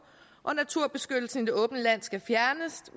og at naturbeskyttelsen i det åbne land skal fjernes